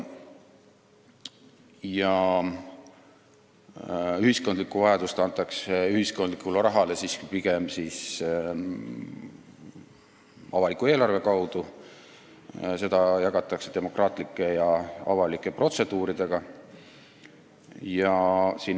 Ühiskondlikust vajadusest antakse teada pigem avaliku eelarve kaudu, ühiskondlikku raha jagatakse demokraatlike ja avalike protseduuride kaudu.